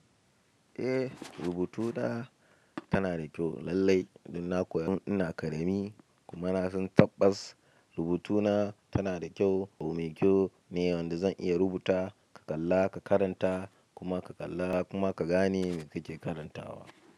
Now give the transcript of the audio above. Eh, rubutuna tana da kyau lallai. Don na koya tun ina ƙarami kuma na san tabbas rubutuna tana da kyau. Abin kyau ne wanda zan iya rubuta, ka kalla, ka karanta kuma ka kalla kuma ka gane me kake karantawa.